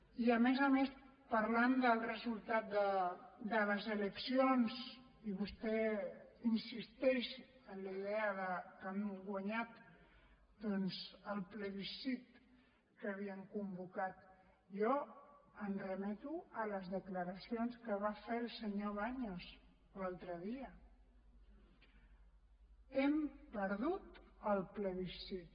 i a més a més parlant del resultat de les eleccions i vostè insisteix en la idea que han guanyat doncs el plebiscit que havien convocat jo em remeto a les declaracions que va fer el senyor baños l’altre dia hem perdut el plebiscit